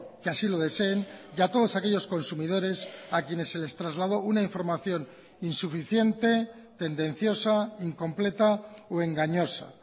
que así lo deseen y a todos aquellos consumidores a quienes se les trasladó una información insuficiente tendenciosa incompleta o engañosa